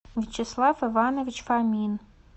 вячеслав иванович фомин